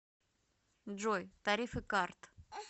джой тарифы карт